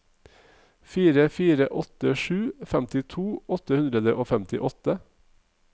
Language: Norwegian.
fire fire åtte sju femtito åtte hundre og femtiåtte